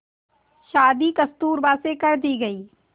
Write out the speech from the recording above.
शादी कस्तूरबा से कर दी गई